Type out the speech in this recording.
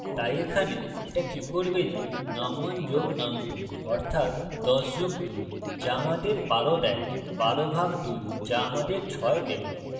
তাই এখানে এটা কি করবে যে num1 যোগ num2 অর্থাত ১০ যোগ ২ so ১২ আমাদের দেয় ১২ ভাগ ২ so আমাদের ৬ দেবে